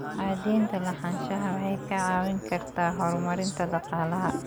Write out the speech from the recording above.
Cadaynta lahaanshaha waxay kaa caawin kartaa horumarinta dhaqaalaha.